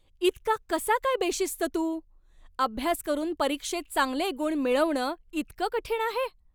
इतका कसा काय बेशिस्त तू? अभ्यास करून परीक्षेत चांगले गुण मिळवणं इतकं कठीण आहे?